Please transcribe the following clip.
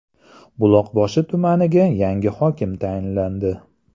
Buloqboshi tumaniga yangi hokim tayinlandi.